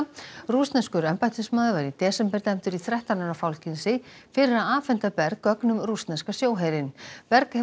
rússneskur embættismaður var í desember dæmdur í þrettán ára fangelsi fyrir að afhenda Berg gögn um rússneska sjóherinn berg hefur